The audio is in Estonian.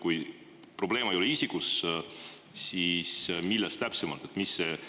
Kui probleem ei ole isikus, siis milles see täpsemalt on?